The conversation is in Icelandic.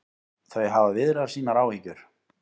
Þau hafa viðrað sínar áhyggjur